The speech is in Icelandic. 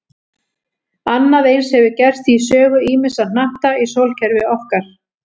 Annað eins hefur gerst í sögu ýmissa hnatta í sólkerfi okkar.